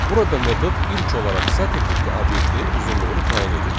Burada metod ilk olaraq sətir tipli obyektin uzunluğunu təyin edir.